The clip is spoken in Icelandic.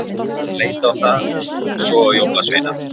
Hann leit á það og svo á jólasveinana.